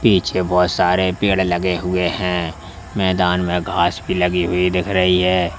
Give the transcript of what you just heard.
पीछे बहुत सारे पेड़ लगे हुए हैं मैदान में घास भी लगी हुई दिख रही है।